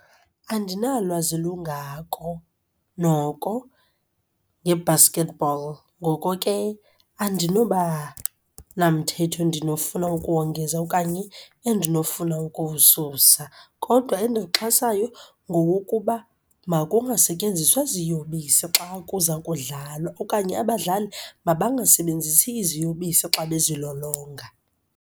Andinalwazi lungako noko nge-basketball, ngoko ke andinoba namthetho endinofuna ukuwongeza okanye endinofuna okuwususa. Kodwa endiwuxhasayo ngowokuba makungasetyenziswa ziyobisi xa kuza kudlalwa okanye abadlali mabangasebenzisi iziyobisi xa bezilolonga.